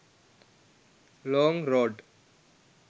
long road